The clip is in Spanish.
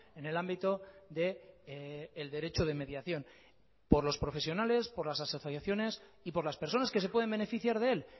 en el ámbito del derecho de mediación por los profesionales por las asociaciones y por las personas que se pueden beneficiar de él